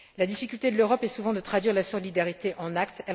La difficulté de l'Europe est souvent de traduire la solidarité en actes.